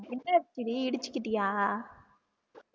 என்னாச்சிடி இடிச்சிக்கிட்டியா